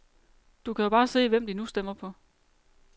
Du kan jo bare se, hvem de nu stemmer på.